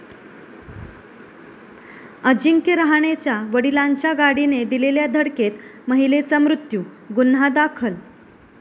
अजिंक्य रहाणेच्या वडिलांच्या गाडीने दिलेल्या धडकेत महिलेचा मृत्यू, गुन्हा दाखल